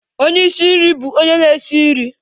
Onye isi nri bụ onye na-esi nri